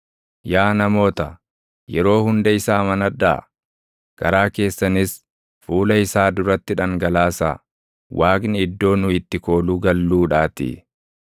Yaa namoota, yeroo hunda isa amanadhaa; garaa keessanis fuula isaa duratti dhangalaasaa; Waaqni iddoo nu itti kooluu galluudhaatii.